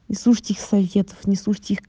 не слушать их советов не слушать их